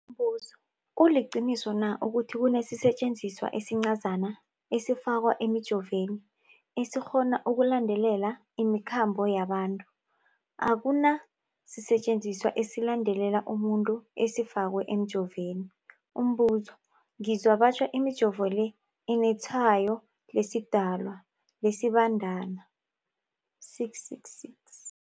Umbuzo, kuliqiniso na ukuthi kunesisetjenziswa esincazana esifakwa emijovweni, esikghona ukulandelela imikhambo yabantu? Akuna sisetjenziswa esilandelela umuntu esifakwe emijoveni. Umbuzo, ngizwa batjho imijovo le inetshayo lesiDalwa, lesiBandana 666.